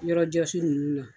Yɔrɔ jɔsi ninnu la